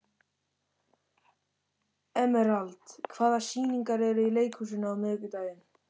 Emerald, hvaða sýningar eru í leikhúsinu á miðvikudaginn?